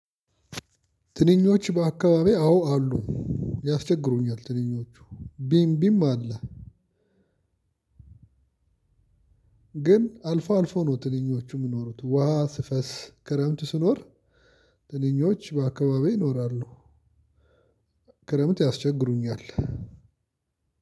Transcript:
ትንኞች በአካባቢዬ አዎ አሉ። ያስቸግሩኛል ትንኞቹ ቢም ቢም አለ። ግን አልፎ አልፎ ነው ትንኞቹ የሚኖሩት ውሃ ስፈስ ክረምት ስኖር። ትንኞች በአካባቢው ይኖራሉ። ክረምት ያስቸግሩኛል።